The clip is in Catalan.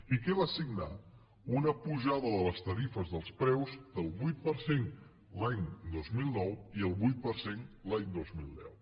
i què va signar una pujada de les tarifes dels preus del vuit per cent l’any dos mil nou i del vuit per cent l’any dos mil deu